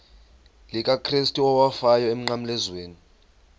likakrestu owafayo emnqamlezweni